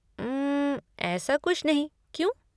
उम्म, ऐसा कुछ नहीं, क्यों?